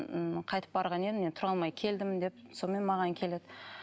м қайтып барған едім мен тұра алмай келдім деп сонымен маған келеді